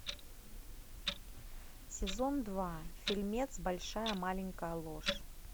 сезон два фильмец большая маленькая ложь